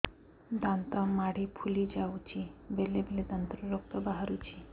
ଦାନ୍ତ ମାଢ଼ି ଫୁଲି ଯାଉଛି ବେଳେବେଳେ ଦାନ୍ତରୁ ରକ୍ତ ବାହାରୁଛି